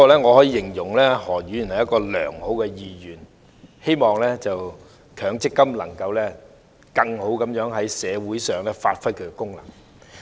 我可以形容何議員是良好的議員，他希望強制性公積金制度可以更好地在社會上發揮其功能。